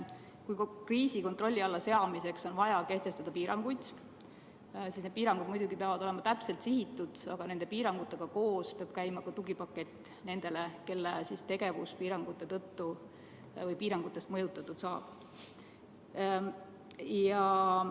Kui kriisi kontrolli alla saamiseks on vaja kehtestada piiranguid, siis need piirangud peavad muidugi olema täpselt sihitud, aga nende piirangutega koos peab käima ka tugipakett nendele, kelle tegevus piirangutest mõjutatud saab.